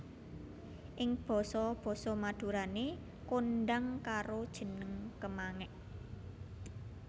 Ing basa basa Madurané kondhang karo jeneng kemangék